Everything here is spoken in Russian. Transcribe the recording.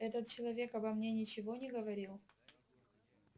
этот человек обо мне ничего не говорил